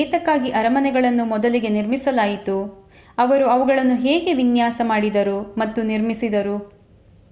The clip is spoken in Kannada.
ಏತಕ್ಕಾಗಿ ಅರಮನೆಗಳನ್ನು ಮೊದಲಿಗೆ ನಿರ್ಮಿಸಲಾಯಿತು ಅವರು ಅವುಗಳನ್ನು ಹೇಗೆ ವಿನ್ಯಾಸ ಮಾಡಿದರು ಮತ್ತು ನಿರ್ಮಿಸಿದರು